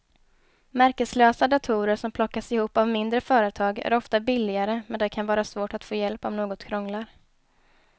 Märkeslösa datorer som plockas ihop av mindre företag är ofta billigare men det kan vara svårt att få hjälp om något krånglar.